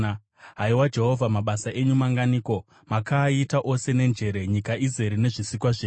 Haiwa Jehovha, mabasa enyu manganiko! Makaaita ose nenjere; nyika izere nezvisikwa zvenyu.